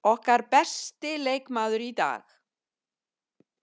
Okkar besti leikmaður í dag.